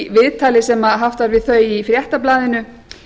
í viðtali sem haft var við þau í fréttablaðinu